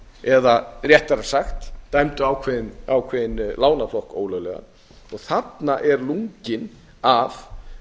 eða réttara sagt dæmdu ákveðinn lánaflokk ólöglegan og þarna er lunginn af